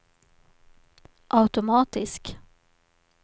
automatisk